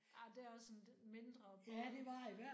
Ej det er også en lidt mindre båd